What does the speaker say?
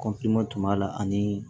kɔnpilɛ tun b'a la ani